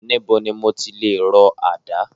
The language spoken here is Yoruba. Níbo ni mo ti lè rọ àdá?